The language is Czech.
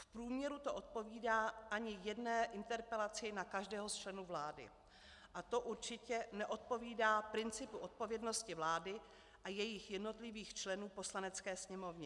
V průměru to neodpovídá ani jedné interpelaci na každého z členů vlády a to určitě neodpovídá principu odpovědnosti vlády a jejích jednotlivých členů Poslanecké sněmovně.